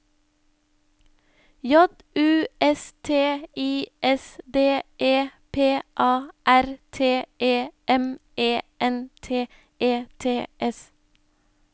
J U S T I S D E P A R T E M E N T E T S